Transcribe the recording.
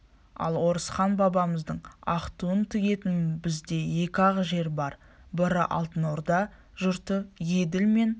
ал орысхан бабамыздың ақ туын тігетін бізде екі-ақ жер бар бірі алтын орда жұрты еділ мен